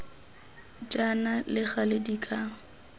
jaana le gale di ka